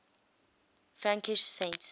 frankish saints